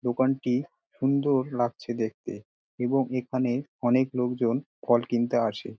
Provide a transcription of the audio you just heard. দোকানটি সুন্দর লাগছে দেখতে এবং এখানে অনেক লোকজন ফল কিনতে আসে।